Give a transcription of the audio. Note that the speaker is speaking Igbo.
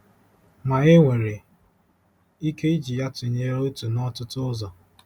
Ma e nwere ike iji ya tụnyere otu n'ọtụtụ ụzọ.